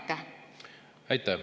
Aitäh!